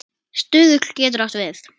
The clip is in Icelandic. Stuðull getur átt við